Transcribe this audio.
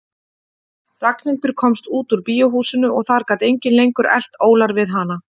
Ragnhildur komst út úr bíóhúsinu og þar gat enginn lengur elt ólar við hana.